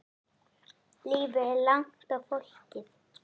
Lífið er langt og flókið.